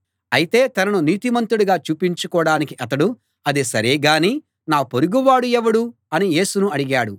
అయితే తనను నీతిమంతుడిగా చూపించుకోడానికి అతడు అది సరే గానీ నా పొరుగువాడు ఎవడు అని యేసును అడిగాడు